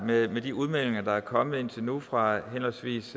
med de udmeldinger der er kommet indtil nu fra henholdsvis